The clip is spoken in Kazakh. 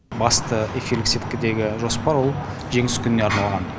басты эфирлік сеткідегі жоспар ол жеңіс күніне арналған